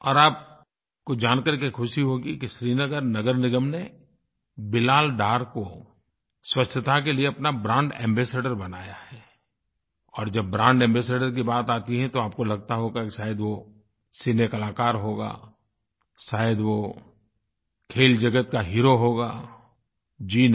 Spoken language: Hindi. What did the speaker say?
और आपको जान करके ख़ुशी होगी कि श्रीनगर नगर निगम ने बिलाल डार को स्वच्छता के लिए अपना ब्रांड एम्बासाडोर बनाया है और जब ब्रांड एम्बासाडोर की बात आती है तो आपको लगता होगा कि शायद वो सिनेकलाकार होगा शायद वो खेलजगत का हीरो होगा जी नहीं